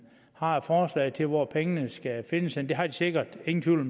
har et forslag til hvor pengene skal findes henne det har de sikkert ingen tvivl